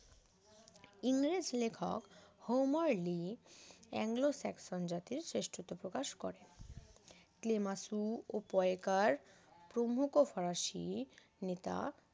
ইংরেজ লেখক Homer Lea Anglo Saxon জাতের শ্রেষ্ঠত্ব প্রকাশ করেন ক্লেমেসু ও পোয়েকার প্রমুখ ফরাসি নেতা